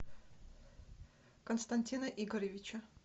константина игоревича